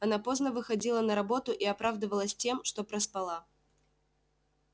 она поздно выходила на работу и оправдывалась тем что проспала